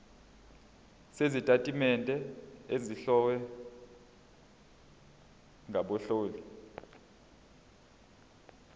sezitatimende ezihlowe ngabahloli